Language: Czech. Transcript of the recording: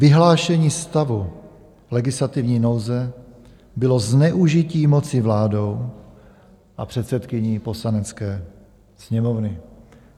Vyhlášení stavu legislativní nouze bylo zneužití moci vládou a předsedkyní Poslanecké sněmovny.